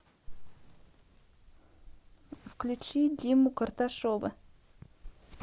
включи диму карташова